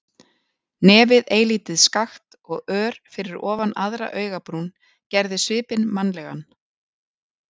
Nefið eilítið skakkt og ör fyrir ofan aðra augabrún, gerði svipinn mannlegan.